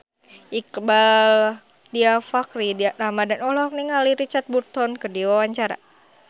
Iqbaal Dhiafakhri Ramadhan olohok ningali Richard Burton keur diwawancara